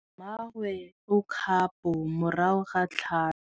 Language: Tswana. Mmagwe o kgapô morago ga tlhalô.